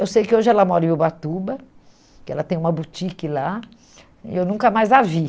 Eu sei que hoje ela mora em Ubatuba, que ela tem uma boutique lá, e eu nunca mais a vi.